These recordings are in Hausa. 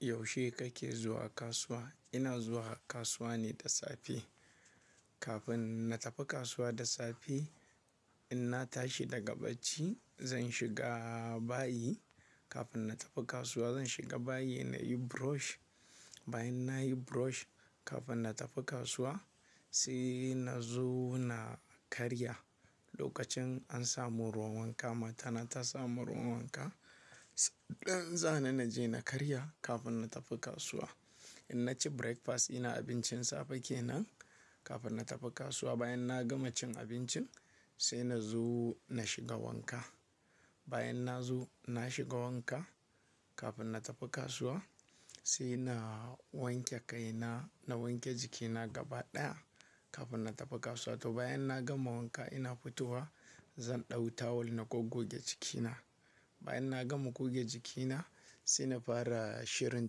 Yaushe kake zuwa kasuwa? Ina zuwa kasuwa ne da safe. Kafin na tafi kasuwa da safe, in na tashi daga bacci, zan shiga bayi. Kafin na tafi kasuwa zan shiga bayi na yi brush. Bayan na yi brush kafin na tafi kasuwa, sai na zo na karya. Lokacin an samu ruwan wanka, matana ta samu ruwan wanka, ɗan zan na je na karya kafin na tafi kasuwa. In na ci breakfast, ina abincin safe kenan kafin na tafi kasuwa. Bayan na gama cin abincin sai na zo na shiga wanka. Bayan na zo na shiga wanka kafin na tafi kasuwa sai na wanke kai na, na wanke jikina gaba ɗaya kafin na tafi kasuwa. To bayan na gama wanka ina fito wa zan ɗau tawul na gogge jikina. Bayan na gama gogge jikina sai na fara shirin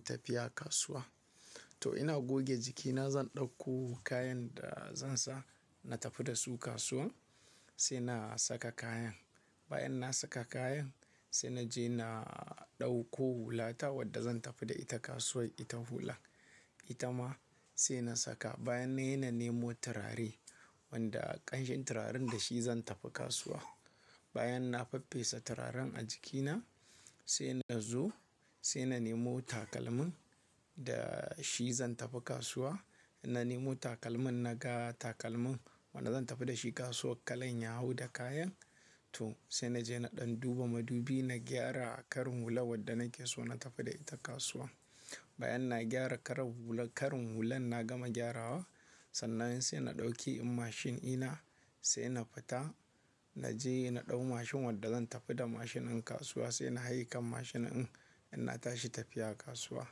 tafiya kasuwa. To ina gogge jikina zan ɗau ko kayan da zan sa na tafi da su kasuwa sai na saka kayan. Bayan na saka kayan sai na je na ɗauko hulata wadda zan tafi da ita kasuwa ita hula. Ita ma sai na saka bayan nayi na nemo turare wanda ƙanshin turaren da shi zan tafi kasuwa. Bayan na faffesa turaren a jikina sai na zo sai na nemo takalmin da shi zan tafi kasuwa. Na nemo takalmin na ga takalmin wanda zan tafi da shi kasuwa kalan ya hau da kayan. To sai na je na ɗan duba madubi na gyara karin hula wadda nake so na tafi da ita kasuwa. Bayan na gyara karar hula-- Karin hulan na gama gyarawa sannan sai na ɗauki in mashin ina sai na fita. Na je na ɗau mashin wadda zan tafi da mashin in kasuwa sai na haye kan mashin in. In na tashi tafiya kasuwa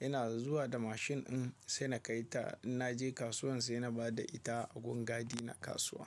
ina zuwa da mashin in sai na kai ta. In na je kasuwan sai na bada ita a gun gadi na kasuwa.